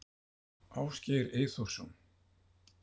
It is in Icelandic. Ásgeir Eyþórsson